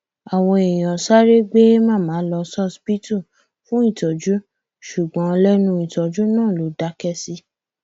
àwọn èèyàn sáré gbé màmá lọ ṣọsibítù fún ìtọjú ṣùgbọn lẹnu ìtọjú náà ló dákẹ sí